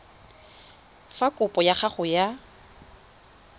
fa kopo ya gago ya